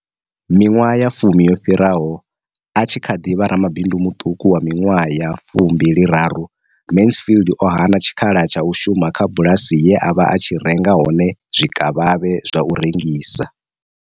Miṅwaha ya fumi yo fhiraho, a tshi kha ḓi vha ramabindu muṱuku wa miṅwaha ya fumimbili raru, Mansfield o hana tshikhala tsha u shuma kha bulasi ye a vha a tshi renga hone zwikavhavhe zwa u rengisa.